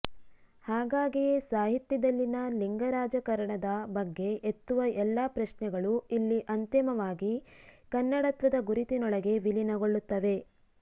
ಹಾಗಾಗಿಯೇ ಸಾಹಿತ್ಯದಲ್ಲಿನ ಲಿಂಗರಾಜಕಾರಣದ ಬಗ್ಗೆ ಎತ್ತುವ ಎಲ್ಲ ಪ್ರಶ್ನೆಗಳು ಇಲ್ಲಿ ಅಂತಿಮವಾಗಿ ಕನ್ನಡತ್ವದ ಗುರುತಿನೊಳಗೆ ವಿಲೀನಗೊಳ್ಳುತ್ತವೆ